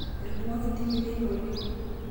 Etudung'oki ntimi teine oleng'